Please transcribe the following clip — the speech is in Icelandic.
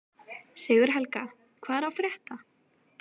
Sigurhelga, hvað er að frétta?